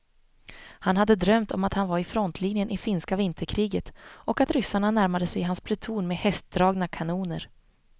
Han hade drömt om att han var i frontlinjen i finska vinterkriget och att ryssarna närmade sig hans pluton med hästdragna kanoner.